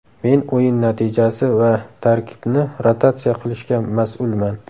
Men o‘yin natijasi va tarkibni rotatsiya qilishga mas’ulman.